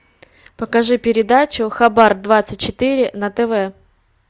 покажи передачу хабар двадцать четыре на тв